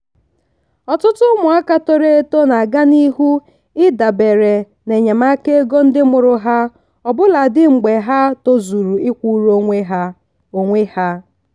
ọtụtụ ụmụaka toro eto na aga n'ihu idabere n'enyemaka ego ndị mụrụ ha ọbụladi mgbe ha tozuru ịkwụrụ onwe ha. onwe ha.